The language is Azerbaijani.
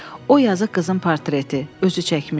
O yazıq qızın portreti, özü çəkmişdi.